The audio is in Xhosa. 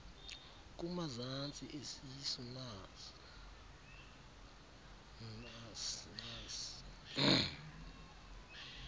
kumazantsi esisu nas